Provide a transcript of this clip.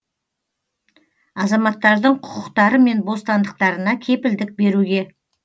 азаматтардың құқықтары мен бостандықтарына кепілдік беруге